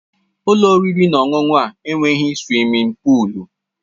Ụlọ oriri na ọṅụṅụ a enweghị suwimin pụụlu